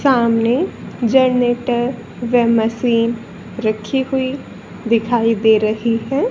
सामने जनरेटर व मशीन रखी हुई दिखाई दे रही है।